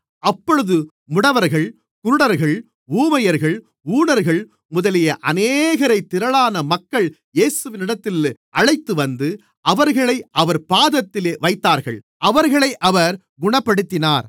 அப்பொழுது முடவர்கள் குருடர்கள் ஊமையர்கள் ஊனர்கள் முதலிய அநேகரை திரளான மக்கள் இயேசுவினிடத்தில் அழைத்துவந்து அவர்களை அவர் பாதத்திலே வைத்தார்கள் அவர்களை அவர் குணப்படுத்தினார்